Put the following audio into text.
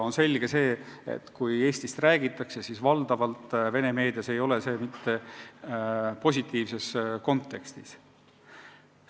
On selge, et kui Eestist Vene meedias räägitakse, siis valdavalt mitte positiivses kontekstis.